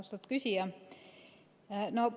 Austatud küsija!